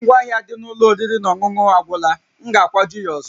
Ngwa ahịa dị n'ụlọ oriri na ọṅụṅụ agwụla, m ga-akwaju ya ọzọ